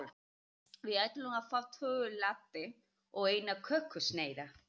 Við ætlum að fá tvo latte og eina kökusneið.